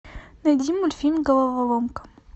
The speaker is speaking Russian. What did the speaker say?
найди мультфильм головоломка